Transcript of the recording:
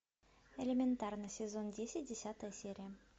элементарно сезон десять десятая серия